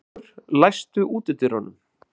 Auðbergur, læstu útidyrunum.